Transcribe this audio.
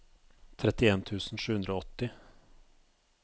trettien tusen sju hundre og åtti